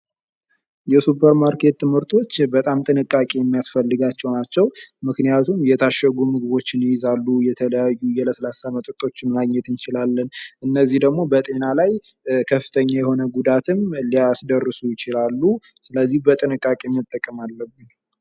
የሱፐርማርኬት ምርቶች በጣም ጥንቃቄ የሚያስፈልጋቸው ናቸው። ምክንያቱም የታሸጉ ምርቶችን ይይዛሉ ፤ የተለያዩ ለስላሳ መጠጦችን ማግኘት እንችላለን ፤ እነዚህ ደግሞ በጤና ላይ ከፍተኛ የሆነ ጉዳትም ሊያስደረሱ ይችላሉ ፤ ስለዚህ በጥንቃቄ መጠቀም አለብን።